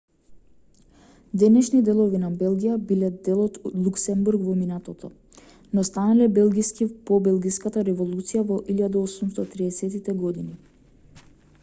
денешни делови на белгија биле дел од луксембург во минатото но станале белгиски по белгиската револуција во 1830-тите години